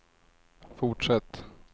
fortsätt